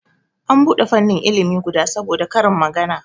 An bude fannin ilimi guda saboda karin magana